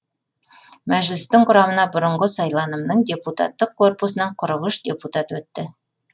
мәжілістің құрамына бұрынғы сайланымның депутаттық корпусынан қырық үш депутат өтті